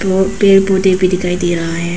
और पेड़ पौधे भी दिखाई दे रहा है।